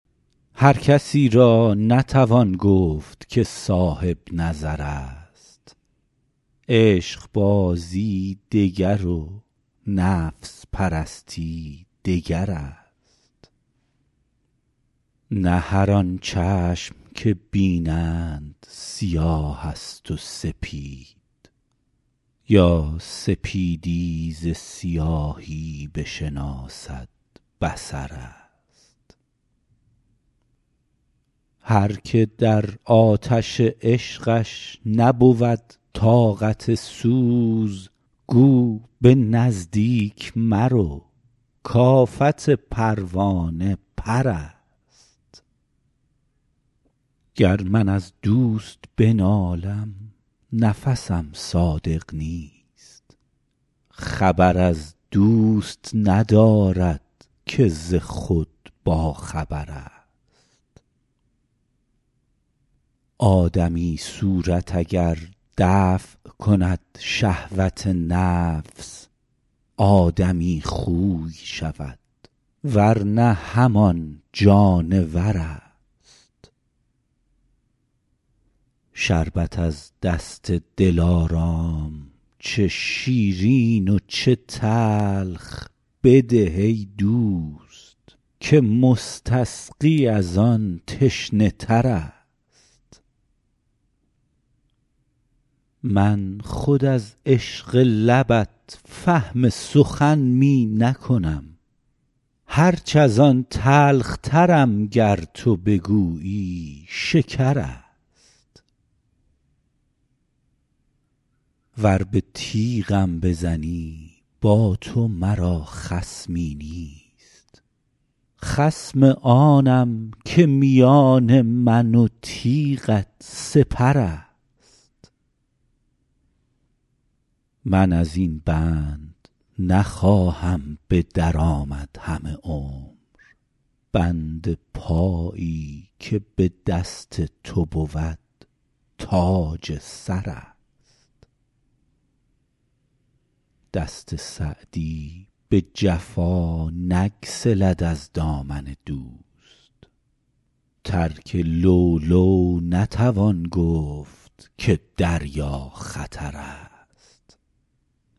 هر کسی را نتوان گفت که صاحب نظر است عشقبازی دگر و نفس پرستی دگر است نه هر آن چشم که بینند سیاه است و سپید یا سپیدی ز سیاهی بشناسد بصر است هر که در آتش عشقش نبود طاقت سوز گو به نزدیک مرو کآفت پروانه پر است گر من از دوست بنالم نفسم صادق نیست خبر از دوست ندارد که ز خود باخبر است آدمی صورت اگر دفع کند شهوت نفس آدمی خوی شود ور نه همان جانور است شربت از دست دلارام چه شیرین و چه تلخ بده ای دوست که مستسقی از آن تشنه تر است من خود از عشق لبت فهم سخن می نکنم هرچ از آن تلخترم گر تو بگویی شکر است ور به تیغم بزنی با تو مرا خصمی نیست خصم آنم که میان من و تیغت سپر است من از این بند نخواهم به در آمد همه عمر بند پایی که به دست تو بود تاج سر است دست سعدی به جفا نگسلد از دامن دوست ترک لؤلؤ نتوان گفت که دریا خطر است